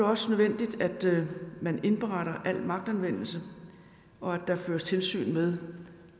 også nødvendigt at man indberetter al magtanvendelse og at der føres tilsyn med